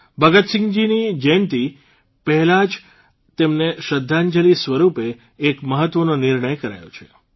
ભગતસિંહજીની જયંતિ પહેલા જ તેમને શ્રદ્ધાંજલી સ્વરૂપે એક મહત્વનો નિર્ણય કરાયો છે